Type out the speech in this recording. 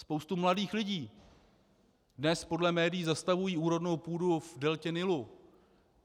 Spousta mladých lidí dnes podle médií zastavují úrodnou půdu v deltě Nilu.